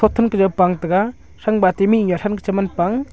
then ke jaw pang tega thang pa mihnu thang ke cheman pang.